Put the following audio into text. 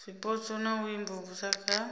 zwipotso na u imvumvusa kha